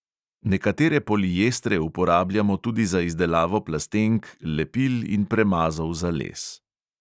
Nekatere poliestre uporabljamo tudi za izdelavo plastenk, lepil in premazov za les.